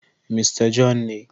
Mista John ne..